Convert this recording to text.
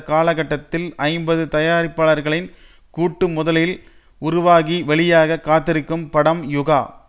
கால கட்டத்தில் ஐம்பது தயாரிப்பாளர்களின் கூட்டு முதலில் உருவாகி வெளியாக காத்திருக்கும் படம் யுகா